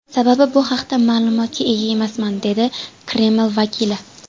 Sababi bu haqda ma’lumotga ega emasman”, dedi Kreml vakili.